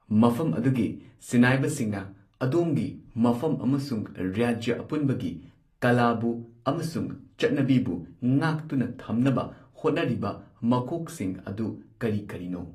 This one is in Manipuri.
ꯃꯐꯝ ꯑꯗꯨꯒꯤ ꯁꯤꯅꯥꯏꯕꯁꯤꯡꯅ ꯑꯗꯣꯝꯒꯤ ꯃꯐꯝ ꯑꯃꯁꯨꯡ ꯔꯥꯖ꯭ꯌ ꯑꯄꯨꯟꯕꯒꯤ ꯀꯂꯥꯕꯨ ꯑꯃꯁꯨꯡ ꯆꯠꯅꯕꯤꯕꯨ ꯉꯥꯛꯇꯨꯅ ꯊꯝꯅꯕ ꯍꯣꯠꯅꯔꯤꯕ ꯃꯀꯣꯛꯁꯤꯡ ꯑꯗꯨ ꯀꯔꯤ ꯀꯔꯤꯅꯣ